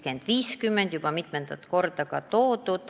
Ütlen seda juba mitmendat korda.